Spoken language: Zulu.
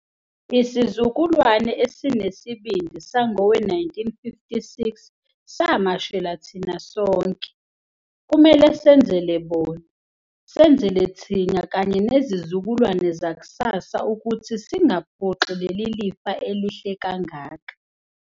Isizukulwane esinesibindi sangowe-1956 samashela thina sonke. Kumele senzele bona, senzele thina kanye nezizukulwane zakusasa ukuthi singaphoxi leli lifa elihle kangaka.